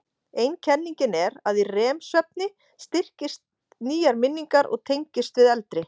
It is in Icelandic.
Ein kenningin er að í REM-svefni styrkist nýjar minningar og tengist við eldri.